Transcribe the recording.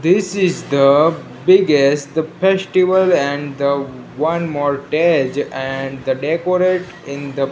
this is the biggest the festival and the one and decorate in the --